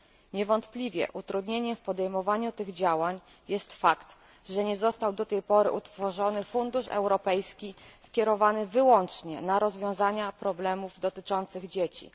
Niewątpliwie utrudnieniem w podejmowaniu tych działań jest fakt, że nie został do tej pory utworzony fundusz europejski skierowany wyłącznie na rozwiązanie problemów dotyczących dzieci.